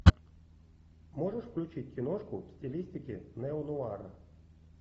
можешь включить киношку в стилистике неонуара